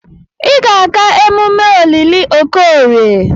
Ị ga-aga emume olili Okorie!